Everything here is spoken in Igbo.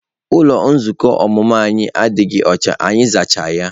Ụlọ nzukọ ọmụmụ ihe anyị adịghị ọcha, anyị azacha ya.